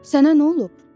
Sənə nə olub?